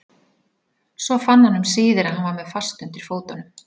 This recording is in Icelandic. Svo fann hann um síðir að hann var með fast undir fótunum.